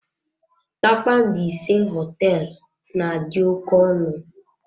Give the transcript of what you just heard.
Kpakpando ise Họteelụ na-adị oké ọnụ.